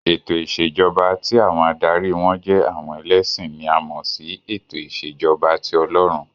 Ètò ìṣèjọba tí àwọn adarí won jẹ́ àwọn ẹlẹ́sìn ni a mọ̀ sí ètò ìṣèjọba ti Ọlọ́run.